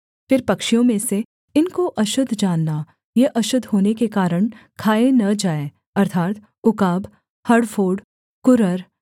फिर पक्षियों में से इनको अशुद्ध जानना ये अशुद्ध होने के कारण खाए न जाएँ अर्थात् उकाब हड़फोड़ कुरर